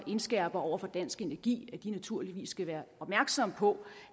indskærper over for dansk energi at de naturligvis skal være opmærksomme på